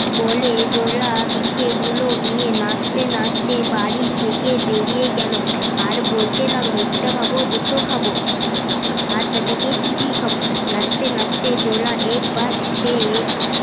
বোলে জোলা পিঠেগুলো নিয়ে নাচতে নাচতে বাড়ি থেকে বেরিয়ে গেলো আর বলতে লাগলো একটা খাবো দুটো খাবো সাত বেটা কে চিবিয়ে খাবো নাচতে নাচতে জোলা একবার সে